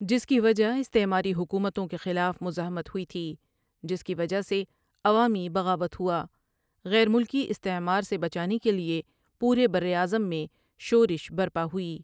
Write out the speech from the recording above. جس کی وجہ استعماری حکومتوں کے خلاف مزاحمت ہوئی تھی جس کی وجہ سے عوامی بغاوت ہوا غیر ملکی استعمار سے بچانے کے لئے پورے براعظم میں شورش برپا ہوئی ۔